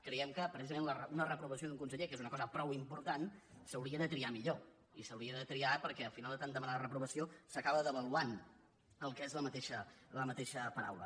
creiem que precisament una reprovació d’un conseller que és una cosa prou important s’hauria de triar millor i s’hauria de triar perquè al final de tant demanar la reprovació s’acaba devaluant el que és la mateixa paraula